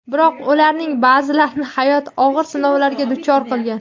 Biroq ularning ba’zilarini hayot og‘ir sinovlarga duchor qilgan.